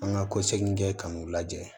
An ka kɔsegin kɛ k'u lajɛ